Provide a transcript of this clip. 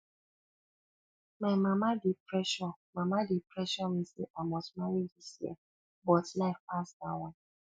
my mama dey pressure mama dey pressure me say i must marry this year but life pass dat one